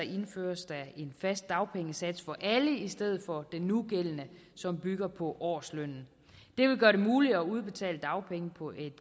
indføres der en fast dagpengesats for alle i stedet for den nugældende som bygger på årslønnen det vil gøre det muligt at udbetale dagpenge på et